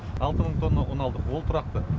алты мың тонна ұн алдық ол тұрақты